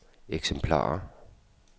eksemplarer